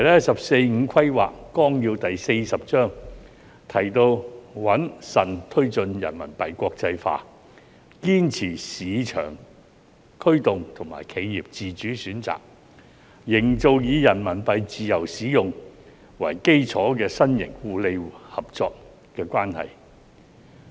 《十四五規劃綱要》第四十章提到："穩慎推進人民幣國際化，堅持市場驅動和企業自主選擇，營造以人民幣自由使用為基礎的新型互利合作關係"。